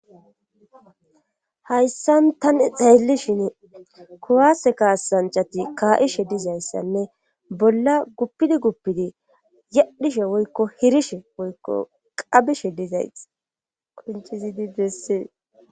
Hayssan tan xeelli shin kowase kaasanchati kaa7ishe dizayssanne bolla guppidi guppidi yadhishe woykko hirishe woykko qabishe dizays qucizdidss.